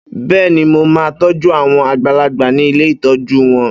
Bẹ́ẹ́ni, mo máa toju àwọn àgbàlagbà ni ilé ìtọ́jú wọn.